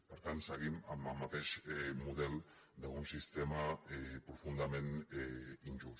per tant seguim amb el mateix model d’un sistema profundament injust